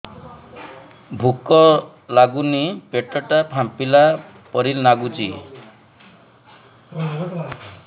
ଭୁକ ଲାଗୁନି ପେଟ ଟା ଫାମ୍ପିଲା ପରି ନାଗୁଚି